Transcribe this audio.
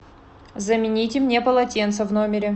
замените мне полотенце в номере